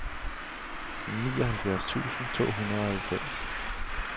nioghalvfjerds tusind to hundrede og halvfems